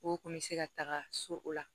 O kun bɛ se ka taga so o la